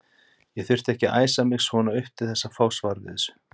Ég þurfti ekki að æsa mig svona upp til þess að fá svar við þessu.